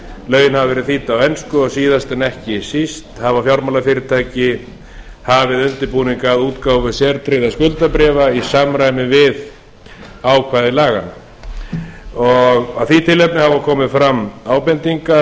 lögin hafa verið þýdd á ensku og síðast en ekki síst hafa fjármálafyrirtæki hafið undirbúning að útgáfu sértryggðra skuldabréf í samræmi við ákvæði laganna af því tilefni hafa komið fram ýmsar